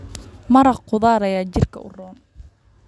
Maraq khudradeed ayaa jidhka u roon.